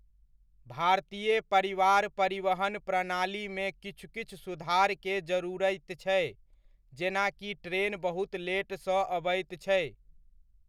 भारतीय परिवार परिवहन प्रणाली मे किछु किछु सुधार के जरूरति छै जेनाकि ट्रेन बहुत लेट सऽ अबैत छै।